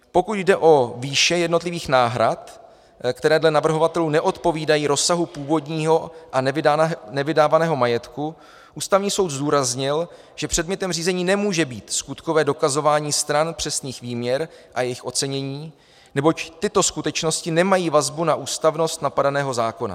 Pokud jde o výše jednotlivých náhrad, které dle navrhovatelů neodpovídají rozsahu původního a nevydávaného majetku, Ústavní soud zdůraznil, že předmětem řízení nemůže být skutkové dokazování stran přesných výměr a jejich ocenění, neboť tyto skutečnosti nemají vazbu na ústavnost napadeného zákona.